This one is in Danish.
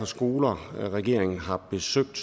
skoler regeringen har besøgt